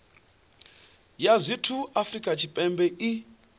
ya zwithu afrika tshipembe i